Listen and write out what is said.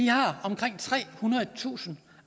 har omkring trehundredetusind